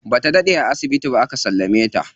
Bata daɗe a asibiti ba aka sallame ta.